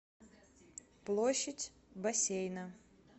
площадь бассейна